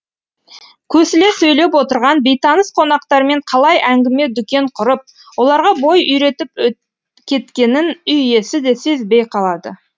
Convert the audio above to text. көсіле сөйлеп отырған бейтаныс қонақтармен қалай әңгіме дүкен құрып оларға бой үйретіп кеткенін үй иесі де сезбей қалады